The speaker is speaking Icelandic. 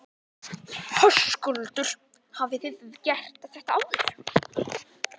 Höskuldur: Hafið þið gert þetta áður?